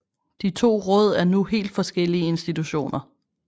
De to råd er nu helt forskellige institutioner